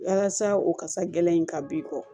Walasa o kasa gɛlɛn in ka b'i kɔ